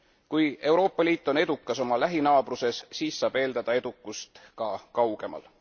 Kui Euroopa Liit on edukas oma lähinaabruses, siis saab eeldada edukust ka kaugemal.